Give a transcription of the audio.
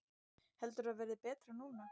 Heldurðu að það verði betra núna?